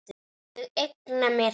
Ég eigna mér þig.